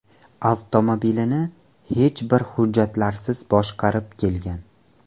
avtomobilni hech bir hujjatlarsiz boshqarib kelgan.